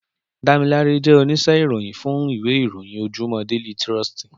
Damilare jè óníṣè iróyin fún iwé iróyin ójójúmò déli tròstí